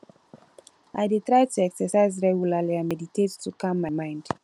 i dey try to exercise regularly and meditate to calm my mind